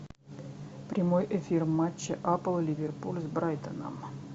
прямой эфир матча апл ливерпуль с брайтоном